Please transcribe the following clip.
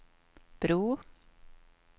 bro